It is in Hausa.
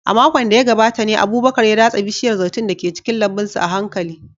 A makon da ya gabata ne Abubakar ya datse bishiyar zaitun da ke cikin lambun sa a hankali.